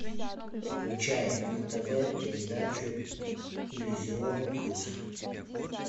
включай на тв передачу иллюзион плюс